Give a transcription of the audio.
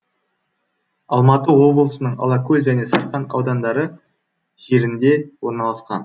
алматы облысының алакөл және сарқан аудандары жерінде орналасқан